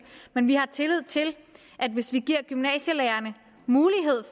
men vi har tillid til at hvis vi giver gymnasielærerne mulighed